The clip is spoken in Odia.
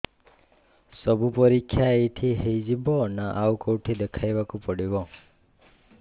ସବୁ ପରୀକ୍ଷା ଏଇଠି ହେଇଯିବ ନା ଆଉ କଉଠି ଦେଖେଇ ବାକୁ ପଡ଼ିବ